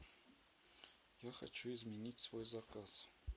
я хочу изменить свой заказ